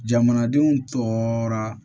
Jamanadenw tɔɔrɔ